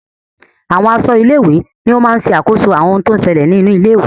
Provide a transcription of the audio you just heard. Àwọn aṣọ́ ilé-ìwé ni wọ́n máa ń sàkóso àwọn ohun tó ń ṣẹlẹ̀ nínú ilé-ìwé.